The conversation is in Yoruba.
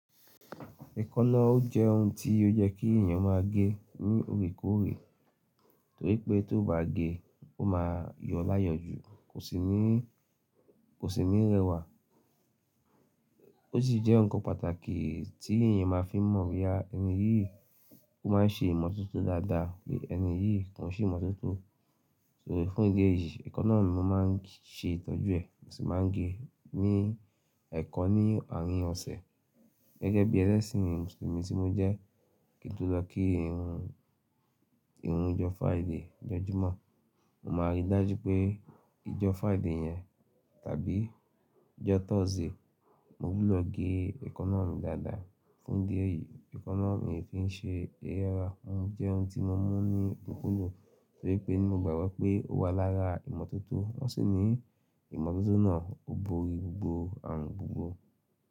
Ẹ̀kọ́ náà ó jẹ́ ohun tí ó yẹ́ kí èèyàn máa gé ní òkèèrè, torí pé tóòbá gé, ó máa yọ láyọjú, kò sì ní, kò sì ní rẹwà. Ó sì jẹ́ ǹkan pàtàkì tí èèyàn máa fi mọ̀ wí pé ẹni yìí ó máa ń ṣe ìmọ́tótó dáadáa bí ẹni yìí kò ń ṣe ìmọ́tótó. Torí fún ìdí èyí, ẹ̀kọ́ náà mi mo máa ń ṣe ìtọ́jú ẹ̀, mo sì máa ń gé ẹ́ ní ẹ̀kọ́ ní àárín ọ̀sẹ̀. Gẹ́gẹ́ bí ẹlẹ́sìn Mùsùlùmí tí mo jẹ́, kí n tó lọ kí irun, irun ìjọba àìdì jọjúmọ́, mo máa rí i dájú pé ìjọba àìdì yẹn tàbí ìjọba tọ̀sí, mo wúlò gé ẹ̀kọ́ náà dáadáa. Fún ìdí èyí, ẹ̀kọ́ náà mi ò fi ṣe eré ara, òun jẹ́ ohun tí mo mú ní òkunkun dun torí pé ní mo gbàgbọ́ pé ó wà lára ìmọ́tótó, wọ́n sì ní ìmọ́tótó náà ò borí gbogbo àrùn gbogbo.